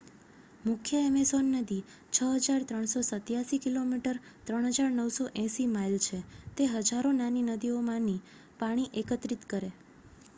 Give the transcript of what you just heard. મુખ્ય એમેઝોન નદી 6,387 કિમી 3,980 માઇલ છે. તે હજારો નાની નદીઓમાંથી પાણી એકત્રિત કરે